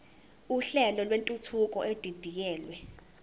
uhlelo lwentuthuko edidiyelwe